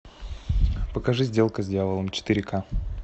покажи сделка с дьяволом четыре ка